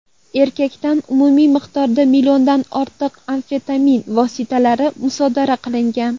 Erkakdan umumiy miqdorda milliondan ortiq amfetamin vositalari musodara qilingan.